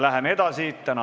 Läheme edasi!